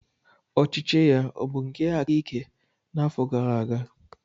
Ọchịchị ya ọ bụ nke aka ike n'afọ gara aga?